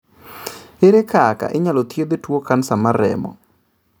Ere kaka inyalo thiedh tuo kansa mar remo?